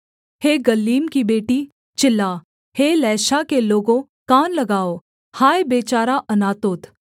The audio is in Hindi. हे गल्लीम की बेटी चिल्ला हे लैशा के लोगों कान लगाओ हाय बेचारा अनातोत